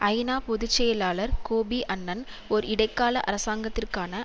ஐநா பொது செயலாளர் கோபி அன்னன் ஒர் இடைக்கால அரசாங்கத்திற்கான